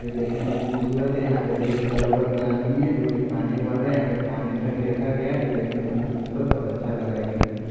जो देखने में खूबसूरत है यहाँ पे रेड कलर का आदमी है जो कि पानी भर रहा है यहां पे पानी टंकी रखा गया है जो देखने में खूबसूरत और अच्छा लग रहा है क्योंकि --